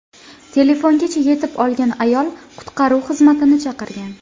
Telefongacha yetib olgan ayol qutqaruv xizmatini chaqirgan.